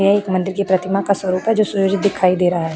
यह एक मंदिर की प्रतिमा का स्वरूप है जो सूर्य दिखाई दे रहा है।